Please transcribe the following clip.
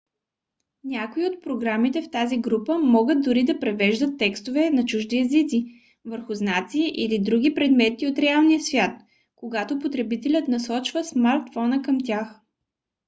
някои от програмите в тази група могат дори да превеждат текстове на чужди езици върху знаци или други предмети от реалния свят когато потребителят насочва смартфона към тях